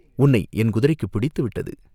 "உன்னை என் குதிரைக்குப் பிடித்துவிட்டது!